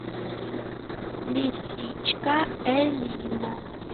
лисичка элина